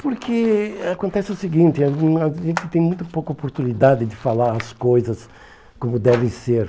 Porque acontece o seguinte, a gen a gente tem muito pouca oportunidade de falar as coisas como devem ser.